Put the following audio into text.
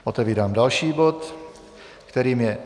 Otevírám další bod, kterým je